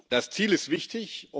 Das Ziel ist wichtig.